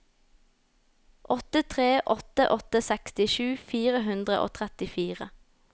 åtte tre åtte åtte sekstisju fire hundre og trettifire